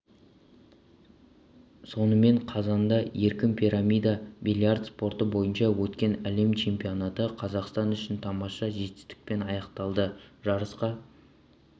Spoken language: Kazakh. сонымен қазанда еркін пирамида бильярд спорты бойынша өткен әлем чемпионаты қазақстан үшін тамаша жетестікпен аяқталды жарысқа